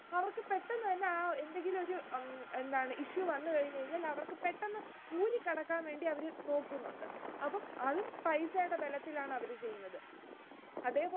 അവർക്ക് പെട്ടെന്ന് തന്നെ ആ എന്തെങ്കിലുമൊരു ഉം എന്താണ് issue വന്നു കഴിഞ്ഞുകഴിഞ്ഞാൽ, അവർക്ക് പെട്ടെന്ന് ഊരി കടക്കുവാൻ വേണ്ടി അവർ നോക്കുന്നുണ്ട്. അപ്പോ അതും, പൈസയുടെ ബലത്തിലാണ് അവർ ചെയ്യുന്നത്.